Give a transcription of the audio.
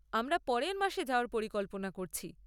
আমরা পরের মাসে যাওয়ার পরিকল্পনা করছি।